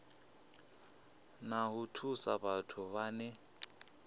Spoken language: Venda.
na u thusa vhathu vhane